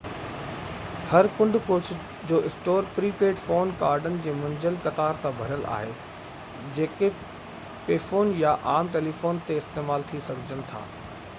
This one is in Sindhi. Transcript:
هر ڪنڊ ڪڙڇ جو اسٽور پري پيڊ فون ڪارڊن منجهيل قطار سان ڀريل آهي جيڪي پيفون يا عام ٽيليفونن تي استعمال ٿي سگهجن ٿا